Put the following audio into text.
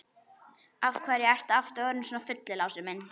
Af hverju ertu aftur orðinn svona fullur, Lási minn?